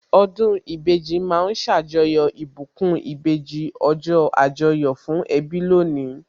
Ọdún ìbejì ma ń ṣàjọyọ̀ ìbùkún ìbejì, ọjọ́ Àjọyọ̀ fún ẹbí lónìí